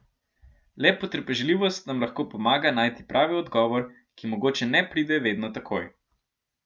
Le potrpežljivost nam lahko pomaga najti pravi odgovor, ki mogoče ne pride vedno takoj.